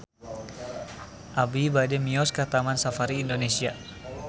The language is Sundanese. Abi bade mios ka Taman Safari Indonesia